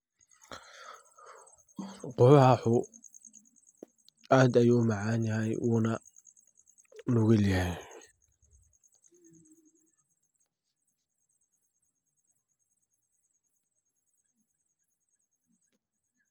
Quwaaxu aad ayuu umacan yahay uuna nugulyahay.